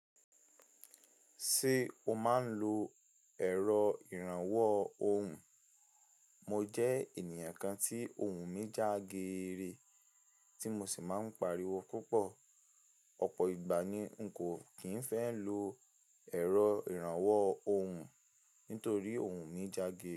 Ṣé o máa ń lo ẹ̀rọ ìrànwọ́ ohùn? Mo jẹ́ ènìyàn kan tí ohùn mi jágeere tí mo sì máa ń pariwo púpọ̀. Ọ̀pọ̀ ìgbà ni n kò kì í fẹ́ lo ẹ̀rọ ìrànwọ́ ohùn nítorí ohùn mi jáge.